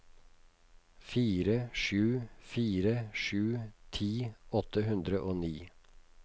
fire sju fire sju ti åtte hundre og ni